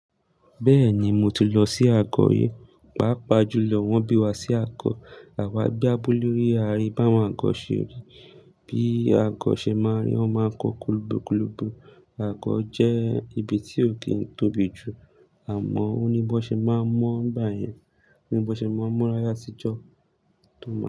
Bẹ́ẹ̀ni, mo ti lọ sí agọ yẹn. Paapaa julọ, wọ́n bí wa sí agọ, àwa gbé abúlé rí, a rí báwo àgọ ṣe rí. Bí agọ ṣe máa rí, ọ máa kọ́ kulubukulubu. Agọ jẹ́ ibi tí ò kì í tóbi jù àmọ́ oní bọ́ ṣe máa mọ̀ bá yẹn, oní bọ́ ṣe máa mọ̀ láyà a tí jọ tó mọ̀.